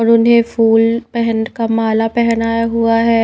उन्होंने फूल पेहैंट का माला पहनाया हुआ है।